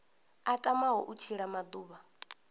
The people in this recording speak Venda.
a tamaho u tshila maḓuvha